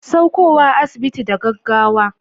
Saukowa asibiti da gaggawa